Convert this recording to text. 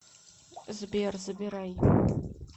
сбер забирай